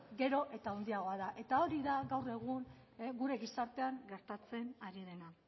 gero eta handiagoa da eta hori da gaur egun gure gizartean gertatzen ari dena